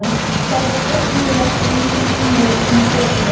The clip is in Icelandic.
Þær þögnuðu ekki einu sinni í svefni.